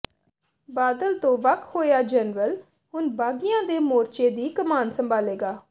ਬਾਦਲ ਤੋਂ ਵੱਖ ਹੋਇਆ ਜਨਰਲ ਹੁਣ ਬਾਗੀਆਂ ਦੇ ਮੋਰਚੇ ਦੀ ਕਮਾਨ ਸੰਭਾਲੇਗਾ